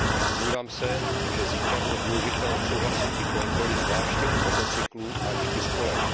Domnívám se, že zítra bude důležité odsouhlasit i kontroly zvláště u motocyklů a čtyřkolek.